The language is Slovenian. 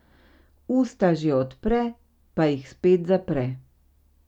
Usta že odpre, pa jih spet zapre.